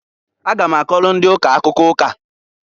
A ga m akọlụ ndị ụka akụkọ ụka.